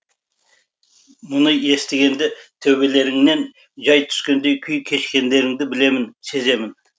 мұны естігенде төбелеріңнен жай түскендей күй кешкендеріңді білемін сеземін